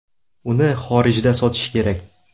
Uni xorijda sotish kerak.